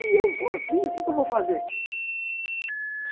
E eu sou assim, o que eu vou fazer?